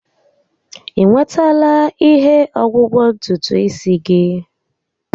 I nwetala ihe ọgwụgwọ ntutu isi gị?